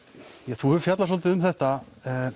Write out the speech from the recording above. þú hefur fjallað svolítið um þetta